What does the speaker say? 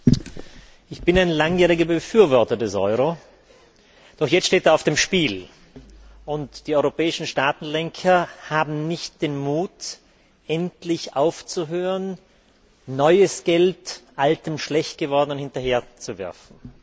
Herr Präsident! Ich bin ein langjähriger Befürworter des Euro, doch jetzt steht er auf dem Spiel. Und die europäischen Staatenlenker haben nicht den Mut, endlich aufzuhören, neues Geld altem, schlecht gewordenem Geld hinterherzuwerfen.